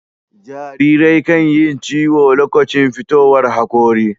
Jarirai kan Yi ciyo lokacin fitowar hakori